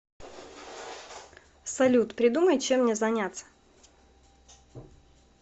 салют придумай чем мне заняться